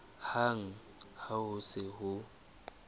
hang ha ho se ho